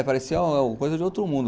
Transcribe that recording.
É, parecia coisa de outro mundo.